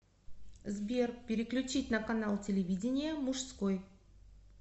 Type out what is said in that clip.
сбер переключить на канал телевидения мужской